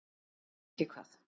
En ekki hvað.